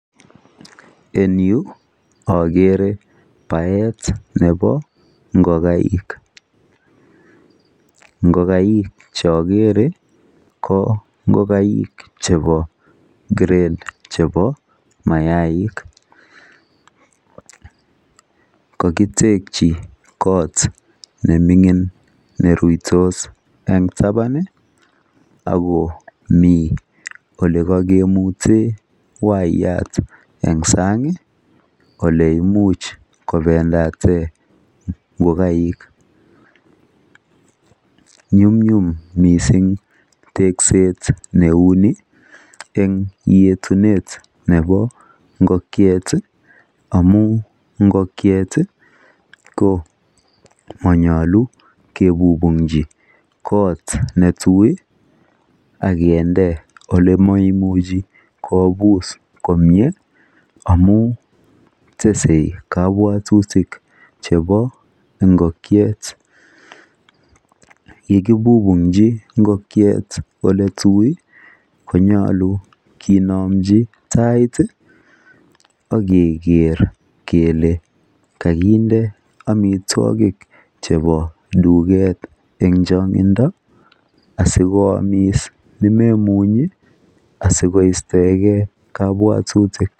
Eng yuu ogere baet nebo ngogaik, ngogaik che ogere ko ngogaik chebo [grade] chebo mayaik kokitekyi kot nemingin neruitos eng taban iih ago mi ole kakimiten wayat eng sang iih ole imuch kobendaten ngogaik. Nyumnyum mising tekset neuni eng yetunet nebo ngongiet iih amun ngongiet iih ko monyolu kebubunkyi kot ne tui iih akinde ole moimuchi kobus komie amun tesei kabwatutik chebo ingokiet ye kibubunkyi ngongiet ole tui konyolu kinomji tait iih ogeger kele kokinde omitwogik chebo tuket eng changindo asikoomis nemomunye asikoistoegen kabwatutik.